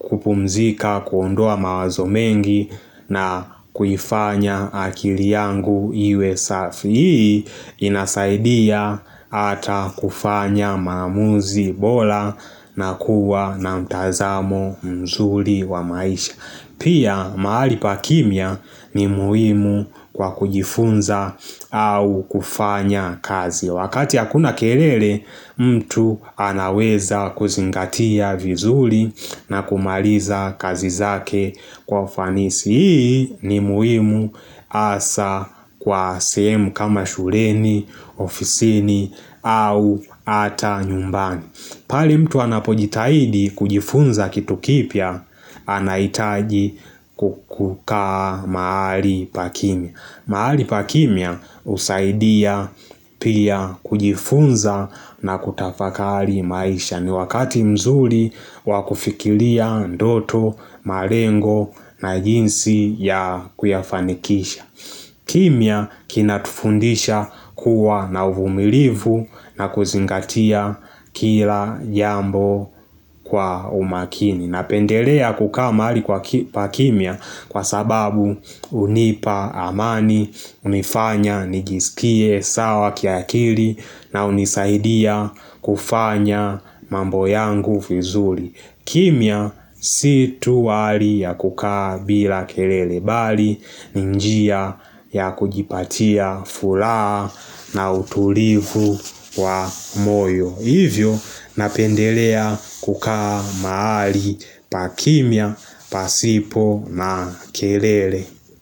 kupumzika, kuondoa mawazo mengi na kuifanya akili yangu iwe safi ili inasaidia ata kufanya maamuzi bora na kuwa na mtazamo mzuri wa maisha Pia mahali pa kimya ni muhimu kwa kujifunza au kufanya kazi Wakati ya hakuna kelele mtu anaweza kuzingatia vizuri na kumaliza kazi zake kwa fanisi Hii ni muhimu hasa kwa sehemu kama shuleni, ofisini au ata nyumbani pale mtu anapojitahidi kujifunza kitu kipya anahitaji kukukaa mahali pa kimya mahali pa kimya husaidia pia kujifunza na kutafakari maisha ni wakati mzuri wa kufikiria ndoto, malengo na jinsi ya kuyafanikisha kimya kinatufundisha kuwa na uvumilivu na kuzingatia kila jambo kwa umakini Napendelea kukaa mahali kwa kimya kwa sababu hunipa amani, hunifanya nijiskie sawa kiakili na hunisaidia kufanya mambo yangu vizuri. Kimya si tu wali ya kukaa bila kelele bali ni njia ya kujipatia furaha na utulivu wa moyo. Hivyo napendelea kukaa maali pa kimya, pasipo na kelele.